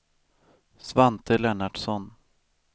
Svante Lennartsson